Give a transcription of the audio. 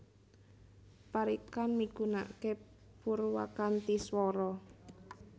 Parikan migunaake purwakanthi swara